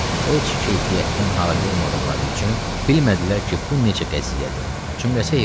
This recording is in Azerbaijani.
Heç keyfiyyətdən halı olmadıqları üçün bilmədilər ki, bu necə qəziyyədir.